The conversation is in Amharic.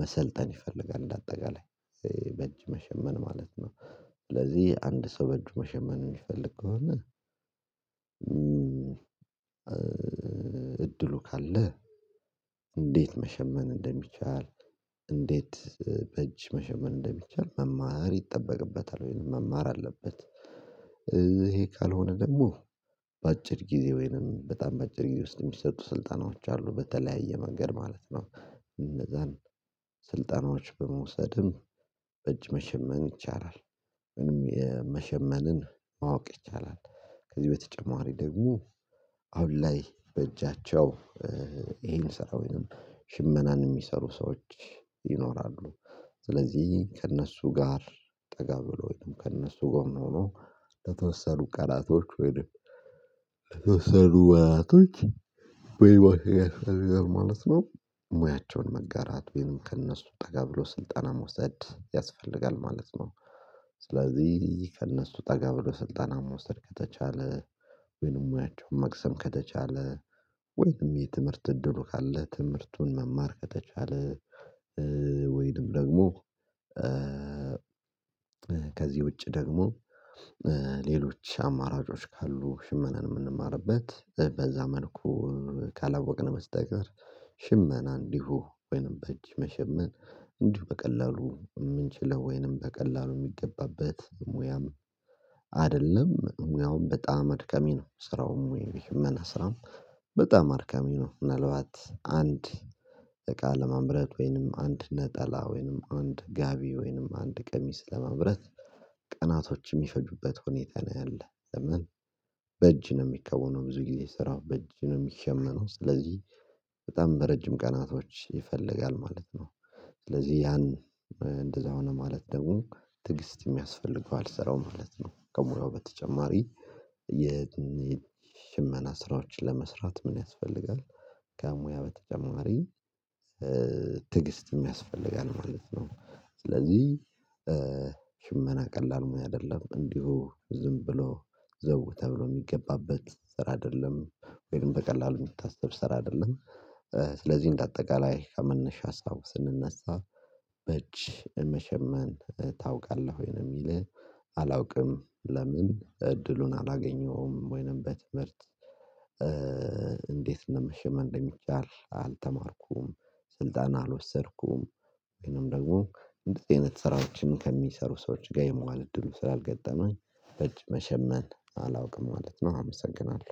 መሰልጠን ይፈልጋል እንደ አጠቃላይ። በእጅ መሸመን ማለት ነው ስለዚህ አንድ ሰው በእጁ መሸመን የሚፈልግ ከሆነ እድሉ ካለ እንዴት መሸመን እንደሚቻል እንዴት በእጅ መሸመን እንደሚቻል መማር ይጠበቅበታል ወይንም መማር አለበት። ይሄ ካልሆነ ደግሞ በአጭር ጊዜ ወይንም በጣም በአጭር ጊዜ ውስጥ የሚሰጡ ስልጠናዎች አሉ በተለያየ መንገድ ማለት ነው። እነዛን ስልጠናዎች በመውሰድም በእጅ መሸመን ይቻላል። ወይንም የመሸመንን ማወቅ ይቻላል። ከዚህ በተጨማሪ ደግሞ አሁን ላይ በእጃቸው ይሄን ስራ ወይንም ሽመናን የሚሰሩ ሰዎች ይኖራሉ። ስለዚህ ከእነሱ ጋር ጠጋ ብሎ ወይንም ከእነሱ ጎን ሆኖ ለተወሰኑ ቀናቶች ወይንም ለተወሰኑ ናቶች በይማ ያስፈልጋል ማለት ነው። ሙያቸውን መጋራት ወይም ከእነሱ ጠጋ ብሎ ስልጠና መውሰድ ያስፈልጋል ማለት ነው። ስለዚህ ከእነሱ ጠጋ ብሎ ስልጠና መውሰድ ከተቻለ ወይንም ሙያቸውን መቅሰም ከተቻለ ወይንም የትምህርት እድሉ ካለ ትምህርቱን መማር ከተቻለ ወይንም ደግሞ ከዚህ ውጪ ደግሞ ሌሎች አማራጮች ካሉ ሽመናን የምንማርበት በዛ መልኩ ካላወቅን በስተቀር ሽመና እንዲሁ ወይንም በእጅ መሸመን እንዲሁ በቀላሉ የምንችለው ወይንም በቀላሉ የሚገባበት ሙያም አይደለም። ሙያውም በጣም አድካሚ ነው። ስራውም ይሄ የሽመና ስራም በጣም አድካሚ ነው። ምናልባት አንድ እቃ ለማምረት ወይንም አንድ ነጠላ ወይንም አንድ ጋቢ ወይንም አንድ ቀሚስ ለማምረት ቀናቶች የሚፈጁበት ሆኔታ ነው ያለ። ለምን በእጅ ነው የሚከወነው ነው ብዙ ጊዜ ስራው በእጅ ነው የሚሸመነው። ስለዚህ በጣም በረጅም ቀናቶች ይፈልጋል ማለት ነው። ስለዚህ ያን እንደዛ ሆነ ማለት ደግሞ ትዕግስትም ያስፈልገዋል ስራው ማለት ነው። ከሙያው በተጨማሪ የሽመና ስራዎችን ለመስራት ምን ያስፈልጋል ከሙያ በተጨማሪ ትዕግስትም ያስፈልጋል ማለት ነው። ስለዚህ ሽመና ቀላል ሙያ አይደለም እንዲሁ ዝም ብሎ ዘው ተብሎ የሚገባበት ስራ አይደለም ወይንም በቀላሉ የሚታሰብ ስራ አይደለም። ስለዚህ እንደ አጠቃላይ ከመነሻ ሀሳቡ ስንነሳ "በእጅ መሸመን ታውቃለህ ወይ?" ነው የሚለው። አላውቅም። ለምን እድሉን አላገኘሁም ወይንም በትምህርት እንዴት እንደሚሸመን እንደሚቻል አልተማርኩም፤ ስልጠና አልወሰድኩም። ወይንም ደግሞ እንደዚህ አይነት ስራዎችን ከሚሰሩ ሰዎች ጋር የመዋል እድሉ ስላልገጠመኝ በእጅ መሸመን አላውቅም ማለት ነው አመሰግናለሁ።